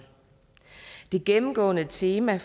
det gennemgående tema i